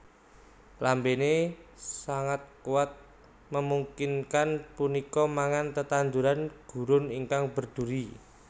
Lambene sangat kuat memungkinkan punika mangan tetanduran gurun ingkang berduri